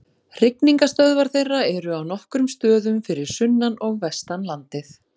Hrygningarstöðvar þeirra eru á nokkrum stöðum fyrir sunnan og vestan landið.